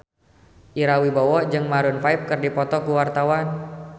Ira Wibowo jeung Maroon 5 keur dipoto ku wartawan